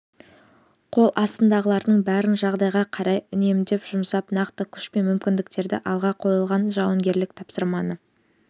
қол астындағылардың бәрін жағдайға қарай үнемдеп жұмсап нақты күш пен мүмкіндіктерді алға қойылған жауынгерлік тапсырманы